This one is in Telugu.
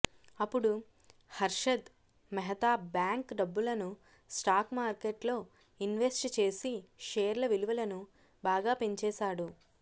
అప్పుడు హర్షద్ మెహతా బ్యాంక్ డబ్బులను స్టాక్ మార్కెట్లో ఇన్వెస్ట్ చేసి షేర్ల విలువలను బాగా పెంచేశాడు